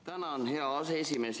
Tänan, hea aseesimees!